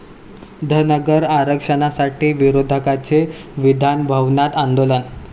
धनगर आरक्षणासाठी विरोधकांचे विधानभवनात आंदोलन